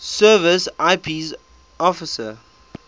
service ips officer